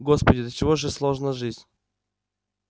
господи до чего же сложна жизнь